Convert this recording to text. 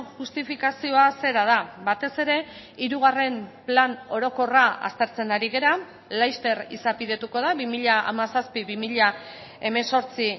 justifikazioa zera da batez ere hirugarren plan orokorra aztertzen ari gara laster izapidetuko da bi mila hamazazpi bi mila hemezortzi